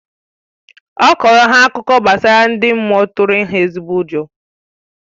Ọ kọrọ ha akụkọ gbasara ndị mmụọ tụrụ ha ezigbo ụjọ